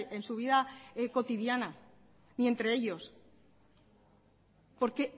en su vida cotidiana y entre ellos porque